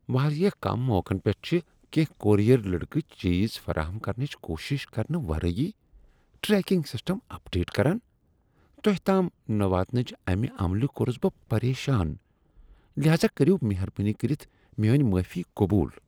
واریاہ کم موقعن پیٹھ چھ کینٛہہ کورئیر لڑکہٕ چیز فراہم کرنٕچ کوٗشش کرنہٕ ورٲے ٹریکنگ سسٹم اَپڈیٹ کران تۄہِہ تام نہَ واتناونٕچہ اَمِہ عملہ کورُس بہٕ پریشان لہذا کٔرِو مہربٲنی کٔرِتھ میٲنۍ معٲفی قبول۔